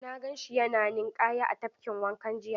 Na gan shi yana ninƙaya a tafkin wanka jiya.